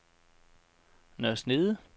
Nørre Snede